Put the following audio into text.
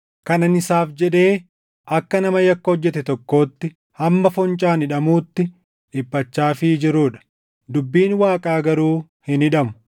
kan ani isaaf jedhee akka nama yakka hojjete tokkootti hamma foncaan hidhamuutti dhiphachaafii jiruu dha. Dubbiin Waaqaa garuu hin hidhamu.